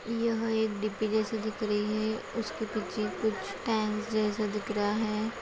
यह एक डिब्बी जैसी दिख रही है उसके पीछे कुछ टैंक जैसा दिख रहा है।